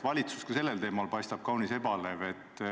Valitsus paistab sellel teemal olevat kaunis ebalev.